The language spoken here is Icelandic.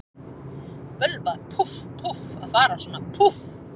Bölvað, púff, púff, að fara svona, púff.